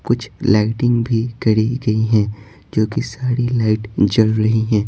कुछ लाइटिंग भी करी गई है जो कि सारी लाइट जल रही हैं।